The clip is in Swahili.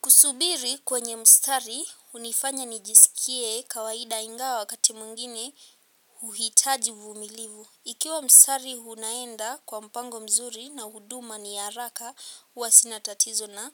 Kusubiri kwenye mstari hunifanya nijisikie kawaida ingawa wakati mwingine huhitaji uvumilivu. Ikiwa mstari unaenda kwa mpango mzuri na huduma ni ya haraka huwa sinatatizo na